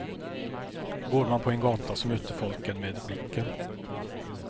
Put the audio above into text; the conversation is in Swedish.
Går man på en gata så möter folk en med blicken.